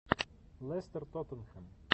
лестер тоттенхэм